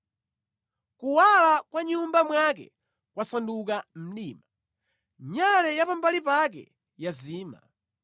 Kuwala kwa mʼnyumba mwake kwasanduka mdima; nyale ya pambali pake yazima.